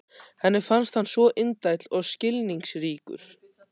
Henni fannst hann svo indæll og skilningsríkur.